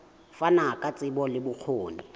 fana ka tsebo le bokgoni